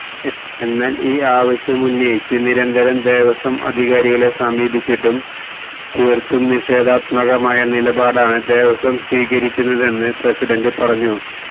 എന്നാല് ഈ ആവശ്യമുന്നയിച്ച് നിരന്തരം ദേവസ്വം അധികാരികളെ സമീപിച്ചീട്ടും തീര്ത്തും നിഷേധാത്മകമായ നിലപാടാണ് ദേവസ്വം സ്വീകരിക്കുന്നതെന്ന് പ്രസിഡന്റ് പറഞ്ഞു